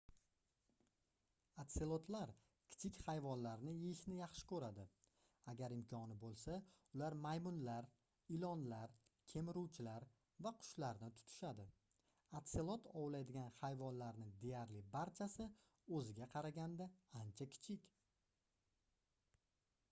otselotlar kichik hayvonlarni yeyishni yaxshi koʻradi agar imkoni boʻlsa ular maymunlar ilonlar kemiruvchilar va qushlarni tutishadi otselot ovlaydigan hayvonlarning deyarli barchasi oʻziga qaraganda ancha kichik